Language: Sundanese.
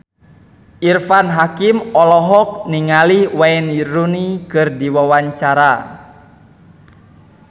Irfan Hakim olohok ningali Wayne Rooney keur diwawancara